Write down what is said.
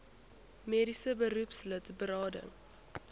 mediese beroepslid berading